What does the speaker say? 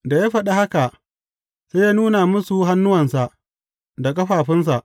Da ya faɗi haka, sai ya nuna musu hannuwansa da ƙafafunsa.